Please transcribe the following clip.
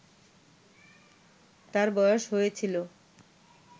তার বয়স হয়েছিল